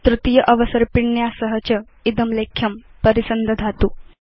तृतीय अवसर्पिण्या सह च इदं लेख्यं परिसन्दधातु